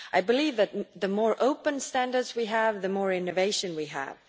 I believe that the more open standards we have, the more innovation we have.